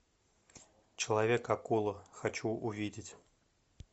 человек акула хочу увидеть